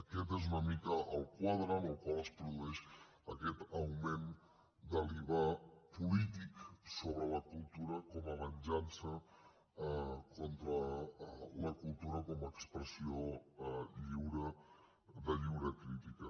aquest és una mica el quadre en el qual es produeix aquest augment de l’iva polític sobre la cultura com a venjança contra la cultura com a expressió de lliure crítica